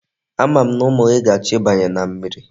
Ama m na umu gi ga-acho ibanye na mmiri.